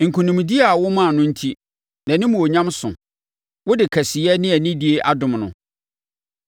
Nkonimdie a woma no enti, nʼanimuonyam so; wode kɛseyɛ ne anidie adom no.